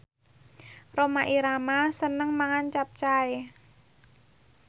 Rhoma Irama seneng mangan capcay